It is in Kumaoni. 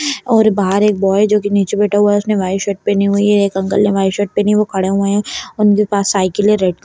और बहार एक बॉय है जो की नीचे बैठा हुआ है उसने वाइट शर्ट पहनी हुई है एक अंकल ने वाइट शर्ट पहनी हुई वो खड़े हुए हैं उनके पास साइकिल है रेड --